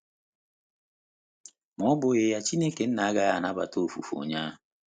Ma ọ́ bụghị ya, Chineke agaghị anabata ofufe onye ahụ.